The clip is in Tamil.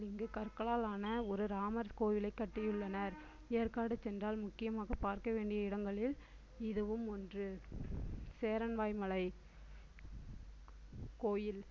இங்கு கற்களால் ஆன ஒரு இராமர் கோவிலை கட்டியுள்ளனர் ஏற்காடு சென்றால் முக்கியமாக பார்க்க வேண்டிய இடங்களில் இதுவும் ஒன்று சேரன்வாயன் மலை கோயில்